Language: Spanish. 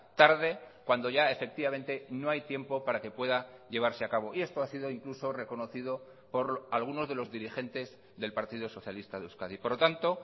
tarde cuando ya efectivamente no hay tiempo para que pueda llevarse a cabo y esto ha sido incluso reconocido por algunos de los dirigentes del partido socialista de euskadi por lo tanto